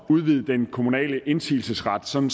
at udvide den kommunale indsigelsesret sådan